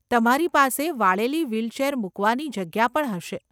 તમારી પાસે વાળેલી વ્હીલચેર મુકવાની જગ્યા પણ હશે.